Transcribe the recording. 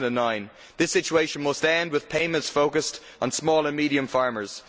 2009. This situation must end, with payments being focused on small and medium farmers.